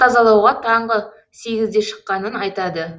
тазалауға таңғы сегізде шыққанын айтады